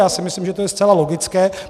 Já si myslím, že je to zcela logické.